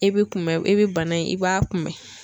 E bi kunbɛ e bi bana in i b'a kunbɛn.